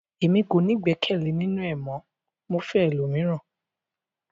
Èmi kò ní igbẹkẹle ninu ẹ mọ, mo ma fẹ ẹlòmíràn.